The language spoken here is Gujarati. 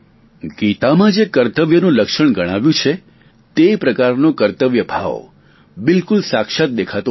ગીતામાં જે કર્તવ્યનું લક્ષણ ગણાવ્યું છે તે પ્રકારનો કર્તવ્યભાવ બિલકુલ સાક્ષાત દેખાતો હતો